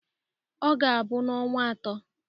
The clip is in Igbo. Ọ ga-abụ n'ọnwa atọ.